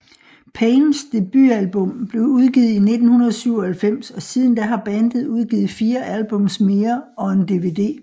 Pains debutalbum blev udgivet i 1997 og siden da har bandet udgivet fire albums mere og en DVD